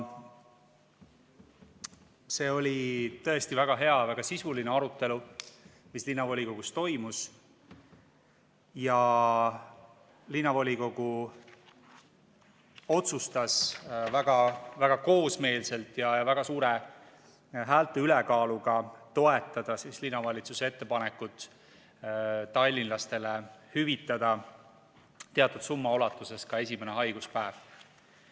See oli tõesti väga hea, väga sisuline arutelu, mis linnavolikogus toimus, ja linnavolikogu otsustas koosmeelselt ja suure häälte ülekaaluga toetada linnavalitsuse ettepanekut tallinlastele hüvitada teatud summa ulatuses ka esimene haiguspäev.